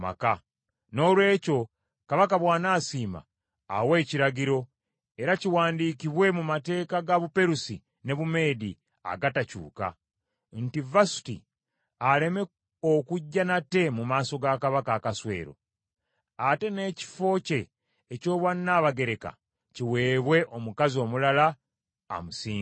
Noolwekyo Kabaka bw’anaasiima, awe ekiragiro, era kiwandiikibwe mu mateeka ga Buperusi ne Bumeedi agatakyuka, nti Vasuti aleme okujja nate mu maaso ga Kabaka Akaswero. Ate n’ekifo kye eky’Obwannabagereka, kiweebwe omukazi omulala amusinga.